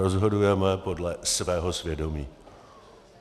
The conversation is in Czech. Rozhodujeme podle svého svědomí.